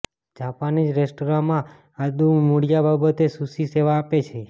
Japanese restaurant માં આદુ મૂળિયાં બાબતે સુશી સેવા આપે છે